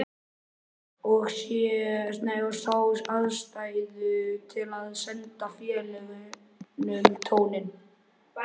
Og sá ástæðu til að senda félögunum tóninn.